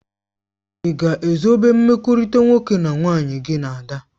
Ị ga-ezobe mkpakọrịta nwoke na nwaanyị gị na Ada?.